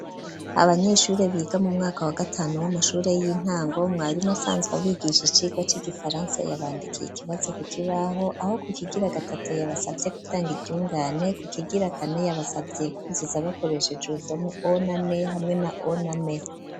Abanyeshure biga mu mwaka wa gatanu w'amashure y'intango, mwarimu asanzwe abigisha icigwa c'igifaransa, yabandikiye ikibazo ku kibaho, aho ku kigira gatatu yabasavye gutanga iryungane, ku kigira kane yabasavye kwuzuza bakoresheje urudome o na n, hamwe na o na m.